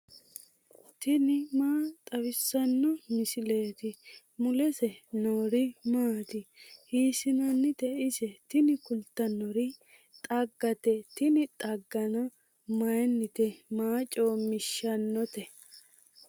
tini maa xawissanno misileeti ? mulese noori maati ? hiissinannite ise ? tini kultannori xaggate tini xaggano mayiinnite maa coommishshannote.